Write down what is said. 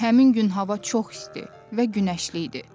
Həmin gün hava çox isti və günəşli idi.